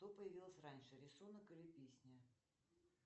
что появилось раньше рисунок или песня